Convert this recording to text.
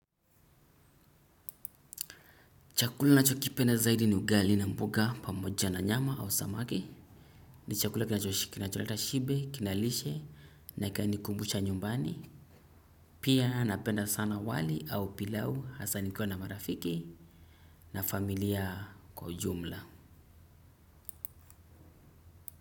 Chakula ninacho kipenda zaidi ni ugali na mboga pamoja na nyama au samaki. Ni chakula kinacho kina cho leta shibe, kinalishe na ikani kumbusha nyumbani. Pia napenda sana wali au pilau hasa nikiwa na marafiki na familia kwa jumla.